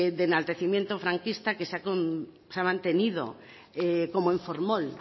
de enaltecimiento franquista que se ha mantenido como en formol